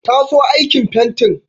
Ta so aikin fentin.